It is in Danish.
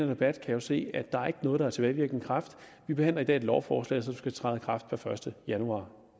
debat kan jo se at der ikke er noget med tilbagevirkende kraft vi behandler i dag et lovforslag som skal træde i kraft per første januar